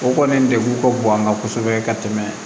O kɔni degun ka bon an kan kosɛbɛ ka tɛmɛ